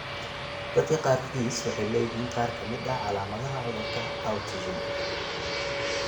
Dadka qaarkiis waxay leeyihiin qaar ka mid ah calaamadaha cudurka autism.